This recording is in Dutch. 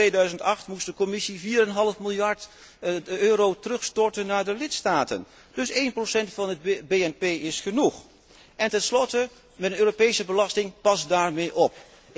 In 2008 moest de Commissie vier en een half miljard euro terugstorten naar de lidstaten, dus 1 van het BNP is genoeg. Tenslotte, met een Europese belasting, pas daarmee